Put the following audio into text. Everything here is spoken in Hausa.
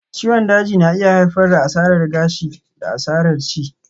Ciwon daji na iya haifar da asarar gashi da asarar ci